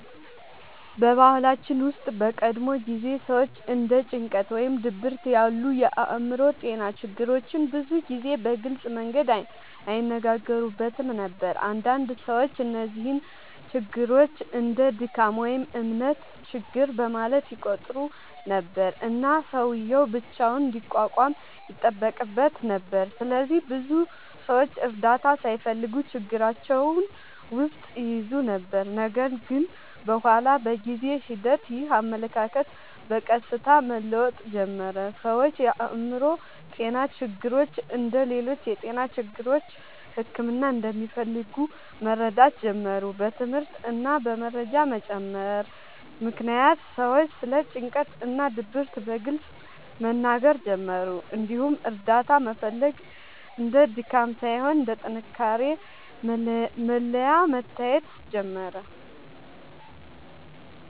በባህላችን ውስጥ በቀድሞ ጊዜ ሰዎች እንደ ጭንቀት ወይም ድብርት ያሉ የአእምሮ ጤና ችግሮችን ብዙ ጊዜ በግልጽ መንገድ አይነጋገሩበትም ነበር። አንዳንድ ሰዎች እነዚህን ችግሮች እንደ “ድካም” ወይም “እምነት ችግር” በማለት ይቆጥሩ ነበር፣ እና ሰውዬው ብቻውን እንዲቋቋም ይጠበቅበት ነበር። ስለዚህ ብዙ ሰዎች እርዳታ ሳይፈልጉ ችግራቸውን ውስጥ ይይዙ ነበር። ነገር ግን በኋላ በጊዜ ሂደት ይህ አመለካከት በቀስታ መለወጥ ጀመረ። ሰዎች የአእምሮ ጤና ችግሮች እንደ ሌሎች የጤና ችግሮች ሕክምና እንደሚፈልጉ መረዳት ጀመሩ። በትምህርት እና በመረጃ መጨመር ምክንያት ሰዎች ስለ ጭንቀት እና ድብርት በግልጽ መናገር ጀመሩ፣ እንዲሁም እርዳታ መፈለግ እንደ ድካም ሳይሆን እንደ ጥንካሬ መለያ መታየት ጀመረ።